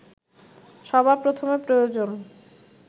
সবার প্রথমে প্রয়োজন